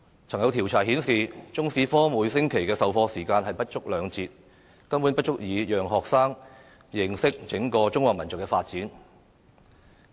曾經有調查顯示，中史科每星期授課時間不足兩節，根本不足以讓學生認識整個中華民族的發展。